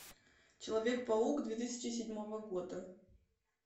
человек паук две тысячи седьмого года